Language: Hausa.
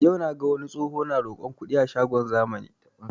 Yau naga wani tsoho na roƙon kuɗi a shagon zamani